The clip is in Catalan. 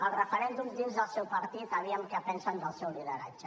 el referèndum dins del seu partit a veure què en pensen del seu lideratge